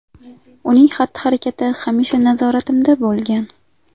Uning xatti-harakati hamisha nazoratimda bo‘lgan.